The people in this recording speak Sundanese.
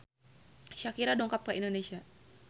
Shakira dongkap ka Indonesia